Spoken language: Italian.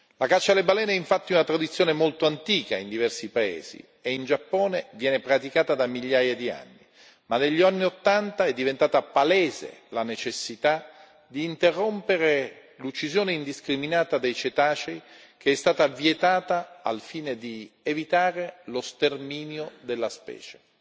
La caccia alle balene è infatti una tradizione molto antica in diversi paesi, e in Giappone viene praticata da migliaia di anni. Ma negli anni Ottanta è diventata palese la necessità di interrompere l'uccisione indiscriminata dei cetacei, che è stata vietata al fine di evitare lo sterminio della specie.